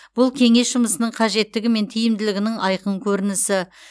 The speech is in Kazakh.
бұл кеңес жұмысының қажеттігі мен тиімділігінің айқын көрінісі